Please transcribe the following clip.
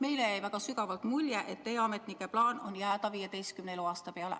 Meile jäi väga sügavalt mulje, et teie ametnike plaan on jääda 15. eluaasta peale.